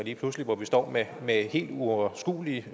hvor vi står med helt uoverskuelige